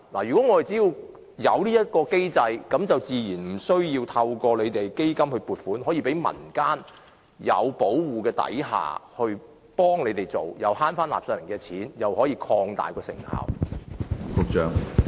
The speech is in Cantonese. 如果我們自行設立機制，民間團體自然無需透過基金撥款，便可在受保護的情況下捐贈食物，既節省納稅人的錢，又可以擴大成效。